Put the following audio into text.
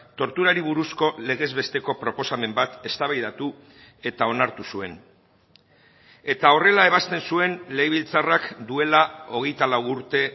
torturari buruzko legez besteko proposamen bat eztabaidatu eta onartu zuen eta horrela ebazten zuen legebiltzarrak duela hogeita lau urte